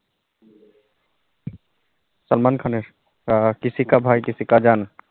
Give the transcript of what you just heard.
সালমান খানের আ কিসি বা ভাই কিসি কা যান